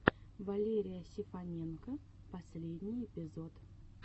валерия сефаненко последний эпизод